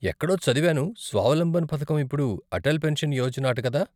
ఎక్కడో చదివాను స్వావలంబన్ పథకం ఇప్పుడు అటల్ పెన్షన్ యోజన అట కదా?